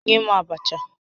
Nye m abacha!